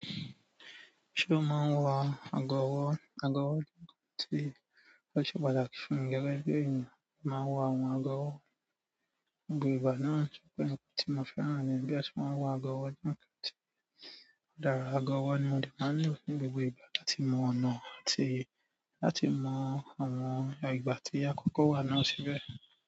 Ṣé o máa ń wọ ago ọ̀wọ̀? Ago ọ̀wọ̀ je nǹkan tí ó ṣe pàtàkì fún mi gẹ̀gẹ̀ bi ènìyàn. A máa ń wọ àwọn ago ọ̀wọ̀ ní gbogbo ìgbà náà ṣe pé nǹkan tí mo fẹ́ràn ni bí a ti máa ń wọ agọ̀wọ̀ jù nǹkan tí ó dára. Ago ọ̀wọ̀ ni mo de máa ń lò fún gbogbo ìgbà láti mọ ọ̀nà àti láti mọ àwọn ìgbà tí akọ́kọ́ wà náà síbẹ̀.